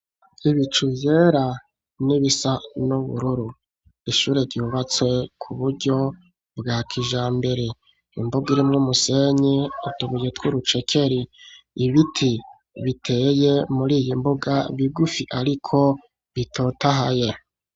Ibicu vyera n'ibisa n'ubururu. Ishure ryubatse ku buryo bwa kijambere. Imbuga irimwo umusenyi, utubuye tw'urucekeri. Ibiti biteye muri iyi mbuga bigufi ariko bitotahaye.